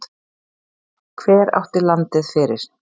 Hver átti landið fyrir?